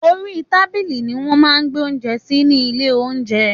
Òrí tábílí ní wõn má gbé ounjé sí ni ìlé ounjé